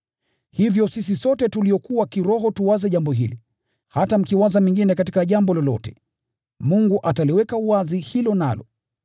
Hivyo sisi sote tuliokuwa kiroho tuwaze jambo hili, hata mkiwaza mengine katika jambo lolote, Mungu ataliweka wazi hilo nalo.